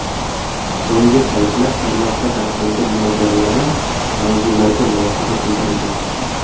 So‘nggi paytlar tarmoqda tarqalgan munozaralari mavzularga munosabat bildirilgan.